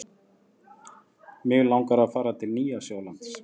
Mig langar að fara til Nýja-Sjálands.